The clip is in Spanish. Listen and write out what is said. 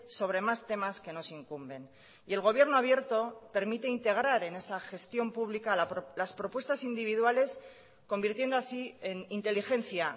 sobre más temas que nos incumben y el gobierno abierto permite integrar en esa gestión pública las propuestas individuales convirtiendo así en inteligencia